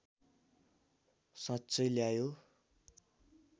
साँच्चै ल्यायो